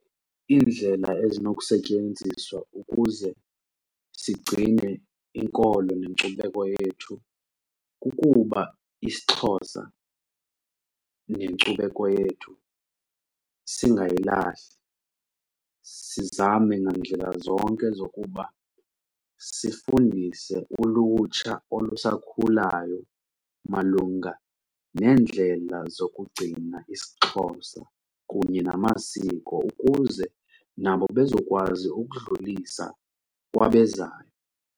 Iindlela ezinokusetyenziswa ukuze sigcine inkolo nenkcubeko yethu kukuba isiXhosa nenkcubeko yethu singayilahli, sizame ngandlela zonke zokuba sifundise ulutsha olusakhulayo malunga neendlela zokugcina isiXhosa kunye namasiko ukuze nabo bezokwazi ukudlulisa kwabezayo.